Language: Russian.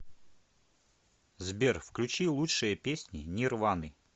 сбер включи лучшие песни нирваны